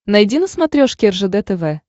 найди на смотрешке ржд тв